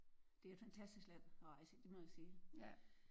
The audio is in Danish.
Det er et fantastisk land at rejse i det må jeg sige